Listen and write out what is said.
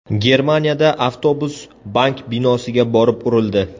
Germaniyada avtobus bank binosiga borib urildi.